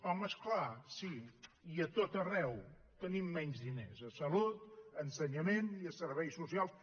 home és clar sí i a tot arreu tenim menys diners a salut a ensenyament i a serveis socials